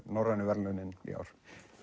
norrænu verðlaunin í ár